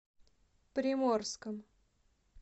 приморском